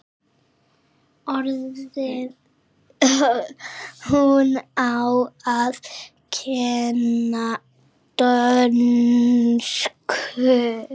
Hún á að kenna dönsku.